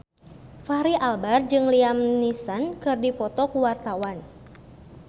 Fachri Albar jeung Liam Neeson keur dipoto ku wartawan